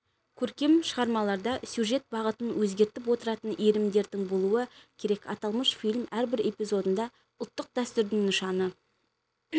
көркем шығармаларда сюжет бағытын өзгертіп отыратын иірімдердің болуы керек аталмыш фильм әрбір эпизодында ұлттық дәстүрдің нышаны